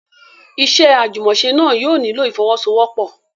Iṣẹ́ àjùmọ̀ṣe náà yóò nílò ìfọ́wọ́sọwọ́pọ̀.